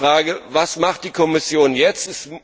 Deshalb lautet die Frage Was macht die Kommission jetzt?